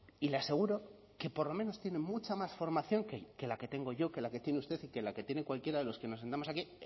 y le aseguro que por lo menos tienen mucha más formación que la que tengo yo que la que tiene usted y que la que tiene cualquiera de los que nos sentamos aquí